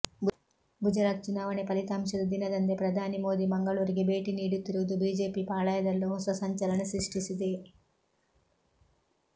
ಗುಜರಾತ್ ಚುನಾವಣೆ ಫಲಿತಾಂಶದ ದಿನದಂದೇ ಪ್ರಧಾನಿ ಮೋದಿ ಮಂಗಳೂರಿಗೆ ಭೇಟಿ ನೀಡುತ್ತಿರುವುದು ಬಿಜೆಪಿ ಪಾಳಯದಲ್ಲೂ ಹೊಸ ಸಂಚಲನ ಸೃಷ್ಟಿಸಿದೆ